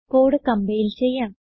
code compile ചെയ്യാം